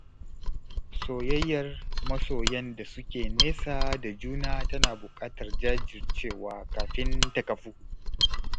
Soyayyar masoyan da suke nesa da juna tana buƙatar jajircewa kafin ta kafu